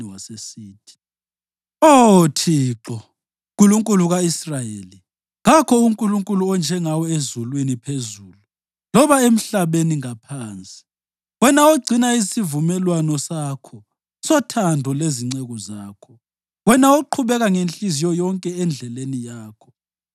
wasesithi: Oh “ Thixo, Nkulunkulu ka-Israyeli, kakho uNkulunkulu onjengawe ezulwini phezulu loba emhlabeni ngaphansi, wena ogcina isivumelwano sakho sothando lezinceku zakho, wena oqhubeka ngenhliziyo yonke endleleni yakho.